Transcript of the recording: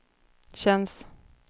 känns